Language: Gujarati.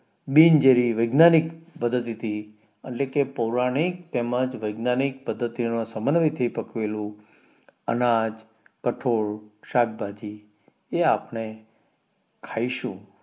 બિન જેરી વૈજ્ઞાનિક પધ્ધતિથી એટલે કે પોઉરાનીક તેમજ વૈજ્ઞાનિક પદ્ધતિના સમન્વય થી પકવેલું અનાજ કઠોળ શાકભાજી એ અપને ખાઈસુ